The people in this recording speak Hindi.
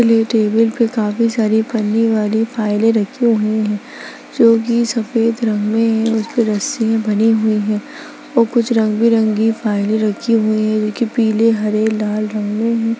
ये टेबल पे बहुत सारे पन्नी वाली फाइले रखे हुए है जो की सफेद रंग में है और उसकी रस्सियां बंधी हुई है व कुछ रंग बिरंगी फाइले रखी हुई है जो पीले हरे लाल रंग में है।